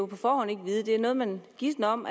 på forhånd kan vide det er noget man gisner om